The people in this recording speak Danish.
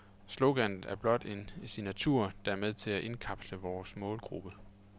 Sloganet er blot en signatur, der er med til at indkapsle vores målgruppe.